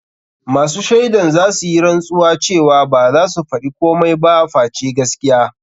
Masu shaidan zasu yi rantsuwa cewa baza su faɗi komai ba face gaskiya.